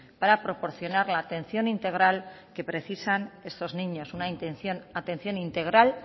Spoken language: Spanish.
para proporcionar la atención integral que precisan estos niños una atención integral